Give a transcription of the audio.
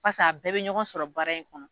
Paseke a bɛɛ bɛ ɲɔgɔn sɔrɔ baara in kɔnɔ.